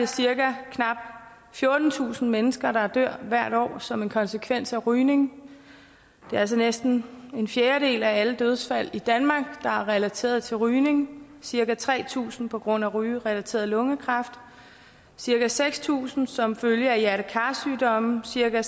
cirka fjortentusind mennesker der hvert år dør som en konsekvens af rygning det er altså næsten en fjerdedel af alle dødsfald i danmark der er relateret til rygning cirka tre tusind er på grund af rygerelateret lungekræft cirka seks tusind som følge af hjerte kar sygdomme cirka